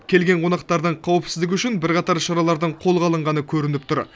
келген қонақтардың қауіпсіздігі үшін бірқатар шаралардың қолға алынғаны көрініп тұр